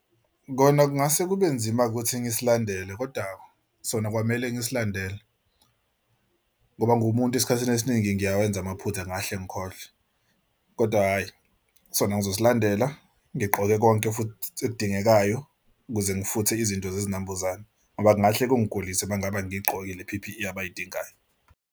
Kona kungase kube nzima ukuthi ngisilandele kodwa sona kwamele nisilandele ngoba ngumuntu esikhathini esiningi ngiyawenza amaphutha ngingahle ngikhohlwe kodwa hhayi sona ngizosilandela. Ngigqoke konke futhi edingekayo ukuze ngifuthe izinto zezinambuzane ngoba kungahle kungigulise uma ngabe angigqokile i-P_P_E abayidingayo.